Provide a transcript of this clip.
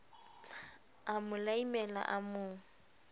a mo laimela a mo